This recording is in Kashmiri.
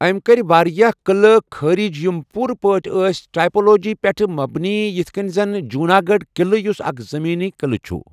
أمۍ کٔر واریاہ قٕلہٕ خٲرج یِم پوٗرٕ پٲٹھۍ ٲسۍ ٹائپولوجی پٮ۪ٹھ مبنی یِتھ کٔنۍ زَن جوناگڑھ قٕلہٕ یُس اکھ زمینی قٕلہٕ چھُ۔